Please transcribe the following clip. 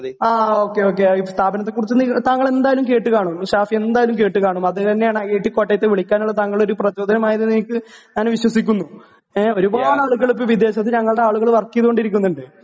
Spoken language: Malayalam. ആ ഓകെ ഓകെ സ്ഥാപനത്തെ കുറിച്ച് നിങ്ങ താങ്കൾ എന്തായാലും കേട്ട് കാണും ഷാഫി എന്തായാലും കേട്ട് കാണും അത് തന്നെയാണ് ഐ ഐ ടി കോട്ടയത്തെ വിളിക്കാനുള്ള താങ്കളുടെ ഒരു പ്രചോദനം ആയത് എന്ന്എ നിക്ക് ഞാൻ വിശ്വസിക്കുന്നു ങേ ഒരുപാട് ആളുകള് ഇപ്പോ വിദേശത്ത് ഞങ്ങളുടെ ആളുകള് വർക്ക് ചേയതോണ്ടിരിക്കുന്നുണ്ട്